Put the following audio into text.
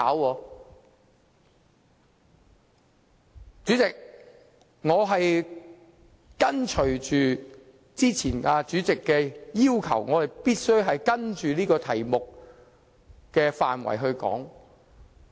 代理主席，我已依循主席早前所作的要求，按照有關議題的範圍發言。